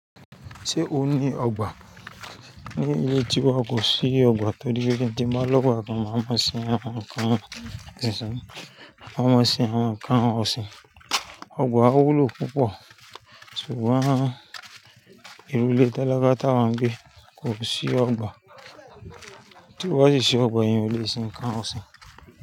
Ṣé o ní ọgbà? N ó yè tí wọ́n kò sí ọgbà torí pé kíń tí má lọ́wọ́ àpọ́n máa má sin ẹ, wọn kàn isin. Wọ́n má sin ẹ, wọn kàn osìn. Ọgbà wúlò púpọ̀, ṣùgbọ́n ìrúlé tẹ́lẹ̀ bá táwọn gbé kò sí ọgbà. Tí o ba si sí ọgbà eyan o le sin kan osìn.